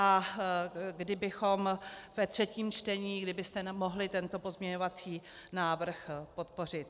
A kdybychom ve třetím čtení, kdybyste mohli tento pozměňovací návrh podpořit.